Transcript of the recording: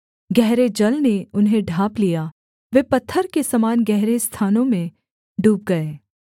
गहरे जल ने उन्हें ढाँप लिया वे पत्थर के समान गहरे स्थानों में डूब गए